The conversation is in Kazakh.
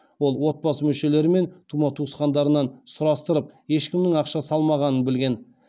ол отбасы мүшелері мен тума туысқандарынан сұрастырып ешкімнің ақша салмағанын білген